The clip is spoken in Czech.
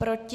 Proti?